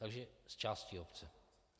Takže z části obce.